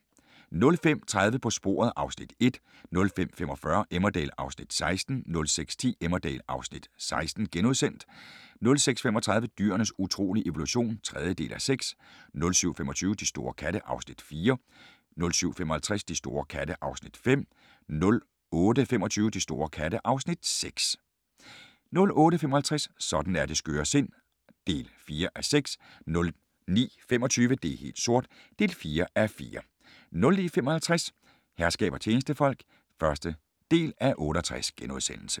05:30: På sporet (Afs. 1) 05:45: Emmerdale (Afs. 16) 06:10: Emmerdale (Afs. 16)* 06:35: Dyrenes utrolige evolution (3:6) 07:25: De store katte (Afs. 4) 07:55: De store katte (Afs. 5) 08:25: De store katte (Afs. 6) 08:55: Sådan er det skøre sind (4:6) 09:25: Det er helt sort (4:4) 09:55: Herskab og tjenestefolk (1:68)*